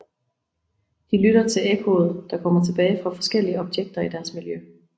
De lytter til ekkoet der kommer tilbage fra forskellige objekter i deres miljø